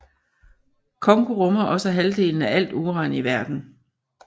Congo rummer også halvdelen af alt uran i verden